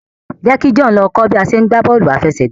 jẹ kí John ló kọ bi a ṣe gbà bóòlù afẹsẹgba